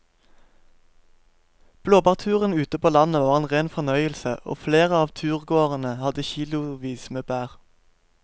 Blåbærturen ute på landet var en rein fornøyelse og flere av turgåerene hadde kilosvis med bær.